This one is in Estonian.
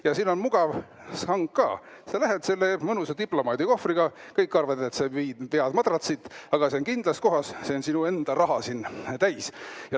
Ja siin on mugav sang ka: sa lähed selle mõnusa diplomaadikohvriga, kõik arvavad, et sa vead madratsit, aga see on kindlas kohas, see on sinu enda raha täis!